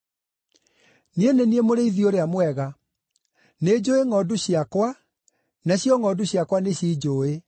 “Niĩ nĩ niĩ mũrĩithi ũrĩa mwega; nĩnjũũĩ ngʼondu ciakwa, nacio ngʼondu ciakwa nĩcinjũũĩ,